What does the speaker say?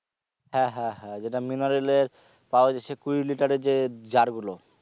হ্যাঁ হ্যাঁ হ্যাঁ যেটা mineral এর পাওয়া যায় সে কুড়ি লিটার এর যে jar গুলো